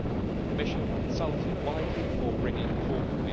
The Commission consulted widely before bringing it forward.